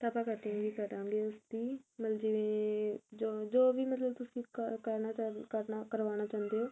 ਤਾਂ ਆਪਾਂ cutting ਵੀ ਕਰਾਂਗੇ ਉਸ ਦੀ ਮਤਲਬ ਜਿਵੇਂ ਜੋ ਵੀ ਮਤਲਬ ਤੁਸੀਂ ਕਰਨਾ ਚਾਉਂਦੇ ਕਰਵਾਣਾ ਚਾਹੁੰਦੇ ਓ